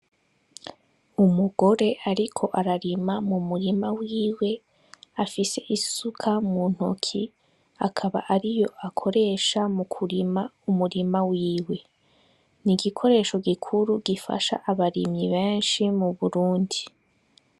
Umugore ariko ararima m'umurima wiwe afise isuka muntoke akaba ariyo ayikoresha m'umurima wiwe, n'igikoresha gikura gifasha abarimyi benshi mu Burundi.